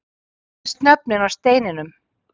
Hann les nöfnin af steininum